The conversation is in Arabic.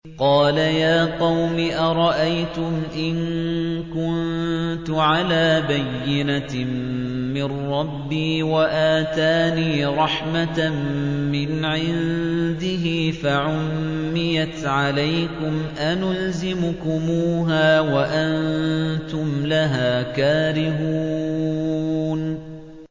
قَالَ يَا قَوْمِ أَرَأَيْتُمْ إِن كُنتُ عَلَىٰ بَيِّنَةٍ مِّن رَّبِّي وَآتَانِي رَحْمَةً مِّنْ عِندِهِ فَعُمِّيَتْ عَلَيْكُمْ أَنُلْزِمُكُمُوهَا وَأَنتُمْ لَهَا كَارِهُونَ